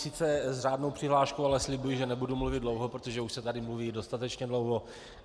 Sice s řádnou přihláškou, ale slibuji, že nebudu mluvit dlouho, protože už se tady mluví dostatečně dlouho.